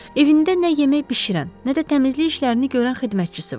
Evində nə yemək bişirən, nə də təmizlik işlərini görən xidmətçisi var.